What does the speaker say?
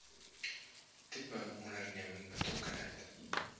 tipe onderneming betrokkenheid